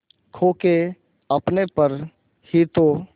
खो के अपने पर ही तो